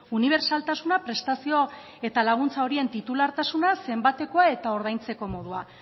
unibertsaltasuna prestazio eta laguntza horien titulartasuna zenbateko eta ordaintzeko modua